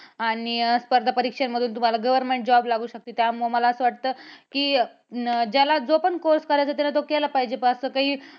आणि स्पर्धा परीक्षेमधून तुम्हाला government job लागू शकतो. त्यामुळं मला असं वाटतं की ज्याला जो पण course करायचा त्यानं तो केला पाहिजे. असं काही